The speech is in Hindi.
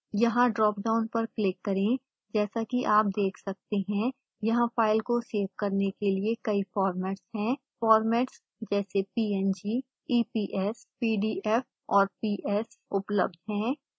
यहाँ ड्रॉपडाउन पर क्लिक करें जैसा कि आप देख सकते हैं यहाँ फाइल को सेव करने के लिए कई फार्मेट्स हैं फॉर्मेट्स जैसे png eps pdf और ps उपलब्ध हैं